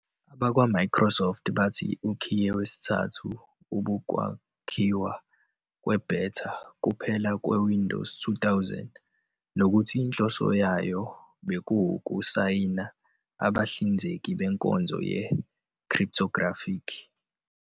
AbakwaMicrosoft bathi ukhiye wesithathu ubukwakhiwa kwe-beta kuphela kweWindows 2000 nokuthi inhloso yayo bekuwukusayina abahlinzeki benkonzo ye-Cryptographic.